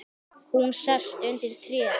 Hún sest undir tréð.